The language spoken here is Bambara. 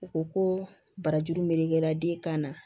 U ko ko barajuru melekera den kan na